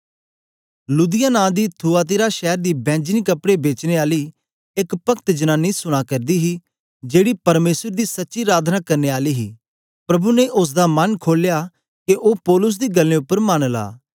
लुदिया नां दी थुआतीरा शैर दी बैंजनी कपड़े बेचने आली एक पक्त जनानी सुना करदी ही जेड़ी परमेसर दी सच्ची अराधना करने आली ही प्रभु ने ओसदा मन खोलया के ओ पौलुस दी गल्लें उपर मन ला